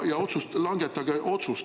Ja langetage otsus!